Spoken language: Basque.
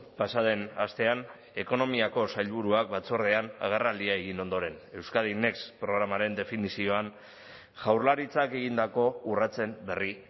pasa den astean ekonomiako sailburuak batzordean agerraldia egin ondoren euskadi next programaren definizioan jaurlaritzak egindako urratsen berri